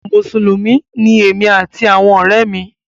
Mùsùlùmí ni èmi àti àwọn ọ̀rẹ́ mi.